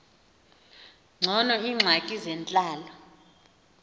ngcono iingxaki zentlalo